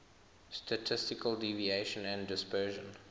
statistical deviation and dispersion